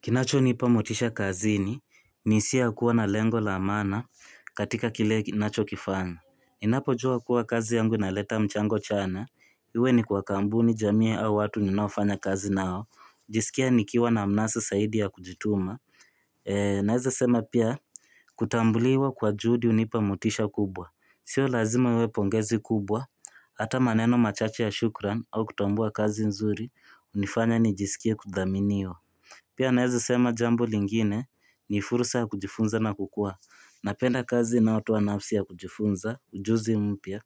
Kinachonipa motisha kazini ni siha kuwa na lengo la maana katika kile ninachokifanya. Ninapojua kuwa kazi yangu inaleta mchango chanya. Iwe ni kwa kampuni jamii au watu ninaofanya kazi nao. NaJisikia nikiwa na mnasa zaidi ya kujituma. Naweza sema pia kutambuliwa kwa juhudi hunipa motisha kubwa. Sio lazima iwe pongezi kubwa. Hata maneno machache ya shukran au kutambua kazi nzuri hunifanya nijisikie kudhaminiwa. Pia naweza sema jambo lingine ni fursa ya kujifunza na kukua napenda kazi inayotoa nafsi ya kujifunza, ujuzi mpya,